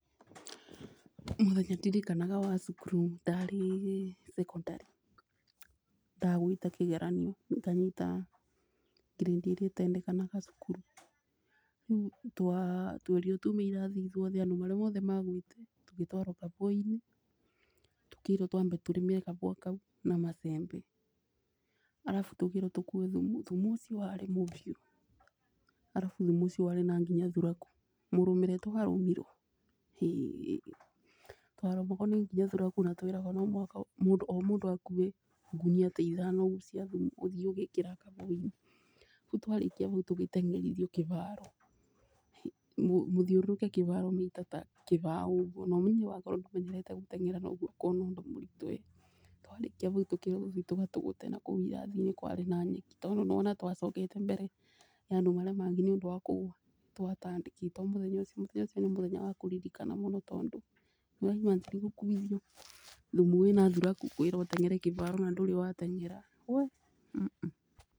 Mũthenya ndirikanaga wa cukuru ndarĩ cekondarĩ ndagwĩte kĩgeranio nganyita ngirĩndi ĩrĩa ĩtendekanaga cukuru. Rĩu twerirwo tume irathi andũ aria othe magwĩte tũgĩtwarwo kabũa-inĩ tũkĩrwo twambe tĩrĩmĩre kabua kau na macembe. Arabu tukirwo tũkue thumu, thumu ũcio warĩ mũbiũ arabu warĩ nginya na thuraku mũrũmĩre twarũmirwo hĩĩ. Twarũmagwo nĩ nginya thuraku na tweragwo no nginya o mũndũ akue ngonia ta ithano ũguo cia thumu ũthiĩ ũgĩkĩraga kabũa-inĩ. Rĩu twarĩkia bau tũgĩteng'erithio kĩbaro mũthiũrũrũke kĩbaro maita ta kĩbaũ ũguo, na ũmenye wakorwo ndũmenyerete gũtong'era noguo ũkuona ũndũ mũritũ ĩ. Twarĩkia tukĩrwo tũthiĩ tũgatũgũte nakũu irathi-inĩ kwarĩ na nyeki tondũ nĩ ũrona twacokete mbere ya mandu marĩa mangĩ nĩ ũndũ wa kũgwa. Twatandĩkĩtwo mũthenya ũcio mũthenya ũcio nĩ mũthenya wa kũririkana mũno tondũ nĩ ũra imagine gũkuithio thumu wĩna thuraku, kwĩrwo ũteng'ere kĩbaro na ndũrĩ wa teng'era wee mm.